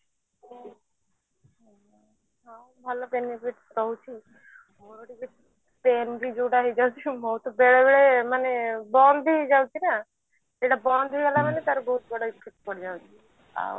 ଭଲ benefit ରହୁଛି ମୋର ଟିକେ pain ବି ଯୋଉଟା ହେଇଯାଉଛି ମୋର ତ ବେଳେ ବେଳେ ମାନେ ବନ୍ଦ ବି ହେଇ ଯାଉଛି ନା ସେଟା ବନ୍ଦ ମାନେ ତାର ବହୁତ ବଡ effect ପଡି ଯାଉଛି ଆଉ